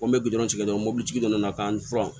Ko n bɛ tigɛ dɔrɔn mobilitigi dɔ nana k'an furan